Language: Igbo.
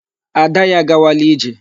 Ada ya agawala ije.